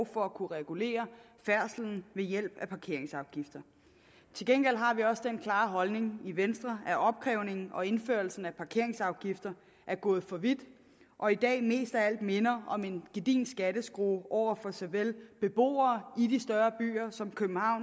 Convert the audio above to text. for at kunne regulere færdslen ved hjælp af parkeringsafgifter til gengæld har vi også den klare holdning i venstre at opkrævningen og indførelsen af parkeringsafgifter er gået for vidt og i dag mest af alt minder om en gedigen skatteskrue over for såvel beboere i de større byer som